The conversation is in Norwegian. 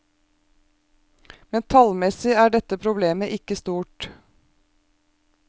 Men tallmessig er dette problemet ikke stort.